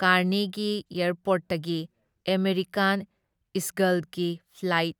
ꯀꯥꯔꯅꯦꯒꯤ ꯑꯦꯌꯥꯔꯄꯣꯔꯠꯇꯒꯤ ꯑꯃꯦꯔꯤꯀꯥꯟ ꯏꯒꯜꯁꯀꯤ ꯐ꯭ꯂꯥꯏꯠ